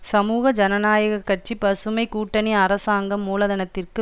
சமூக ஜனநாயக கட்சி பசுமை கூட்டணி அரசாங்கம் மூலதனத்திற்கு